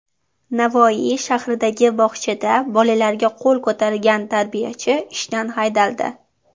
Navoiy shahridagi bog‘chada bolalarga qo‘l ko‘targan tarbiyachi ishdan haydaldi.